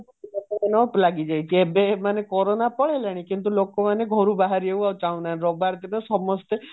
ଏବେ କୋରୋନ ପଳେଇଲାଣି କିନ୍ତୁ ଲୋକମାନେ ଘରୁ ବାହାରିବାକୁ ଚାହୁଁ ନାହାନ୍ତି ରବିବାର ଦିନ ସମସ୍ତେ